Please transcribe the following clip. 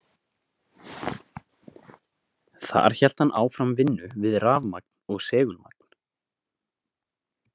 Þar hélt hann áfram vinnu við rafmagn og segulmagn.